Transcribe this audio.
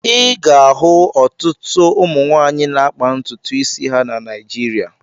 Ị ga-ahụ ọtụtụ ụmụ nwaanyị na-akpa ntutu isi ha na Naịjịrịa.